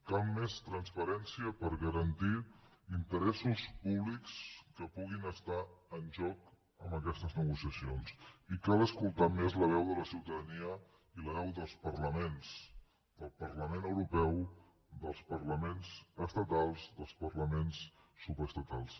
cal més transparència per garantir interessos públics que puguin estar en joc amb aquestes negociacions i cal escoltar més la veu de la ciutadania i la veu dels parlaments del parlament europeu dels parlaments estatals dels parlaments subestatals